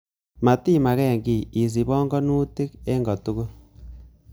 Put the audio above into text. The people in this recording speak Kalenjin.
Motima ken kiy, isich pong'onutik en kotugul.